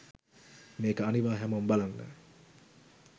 මේක අනිවා හැමොම බලන්න